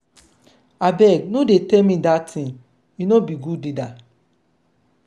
abeg no dey tell me dat thing he no be good leader.